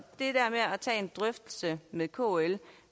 tage en drøftelse med kl